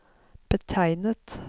betegnet